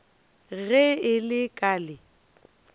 ge e le ka le